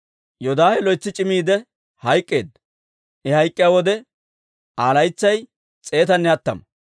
Yoodaahe loytsi c'immiidde hayk'k'eedda; I hayk'k'iyaa wode Aa laytsay s'eetanne hattama.